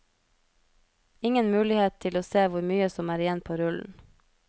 Ingen mulighet til å se hvor mye som er igjen på rullen.